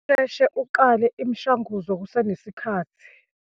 Usheshe uqale imishwanguzo kuse nesikhathi.